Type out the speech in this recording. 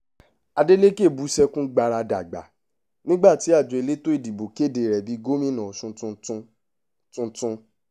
adélekẹ̀ bú sẹ́kún gbaradàgbà nígbà tí àjọ elétò ìdìbò kéde rẹ̀ bíi gómìnà ọ̀ṣun tuntun tuntun